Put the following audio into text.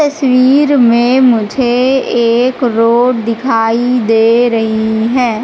तस्वीर में मुझे एक रोड दिखाई दे रही हैं।